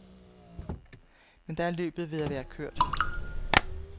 Men da er løbet ved at være kørt.